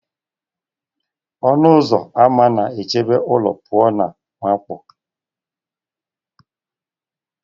Ọnụ ụzọ ama na-echebe ụlọ pụọ na mwakpo